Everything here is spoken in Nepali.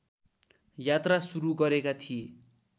यात्रा सुरु गरेका थिए